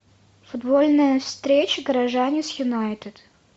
футбольная встреча горожане с юнайтед